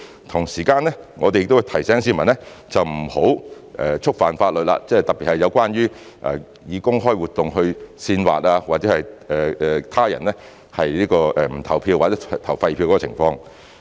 同時，我們亦會提醒市民不要觸犯法律，特別是有關藉公開活動煽惑他人不投票或投廢票的情況。